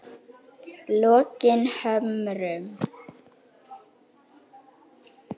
Lokinhömrum